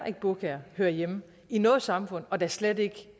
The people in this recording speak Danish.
at burkaer hører hjemme i noget samfund og da slet ikke